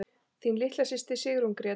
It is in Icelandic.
Þín litla systir, Sigrún Gréta.